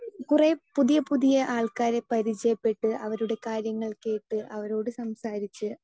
speaker 2 കുറെ പുതിയ പുതിയ ആൾക്കാരെ പരിചയപ്പെട്ട് അവരുടെ കാര്യങ്ങൾ കേട്ട് അവരോട് സംസാരിച്ച്